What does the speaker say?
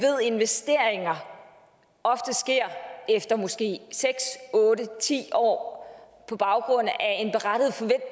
investeringer ofte sker efter måske seks otte ti år på baggrund af